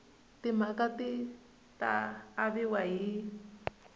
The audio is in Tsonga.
timaraka ti ta aviwa hi